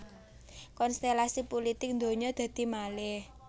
Konstèlasi pulitik ndonyo dadi malèh